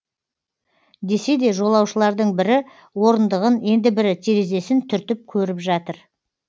десе де жолаушылардың бірі орындығын енді бірі терезесін түртіп көріп жатыр